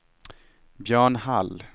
Björn Hall